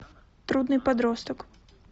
трудный подросток